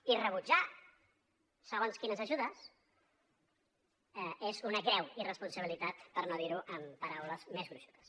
i rebutjar segons quines ajudes és una greu irresponsabilitat per no dir ho amb paraules més gruixudes